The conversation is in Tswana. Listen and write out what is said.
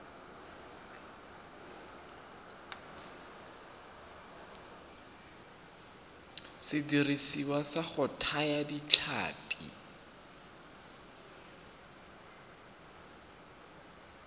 sediriswa sa go thaya ditlhapi